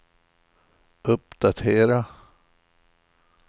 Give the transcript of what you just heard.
uppdatera